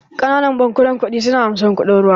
Ƙananan bankunan kuɗi su na amsan kuɗin ruwa.